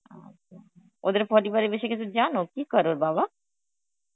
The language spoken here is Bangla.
আচ্ছা ওদের পরিবারের বেশি কিছু জানো, কি করে ওর বাবা?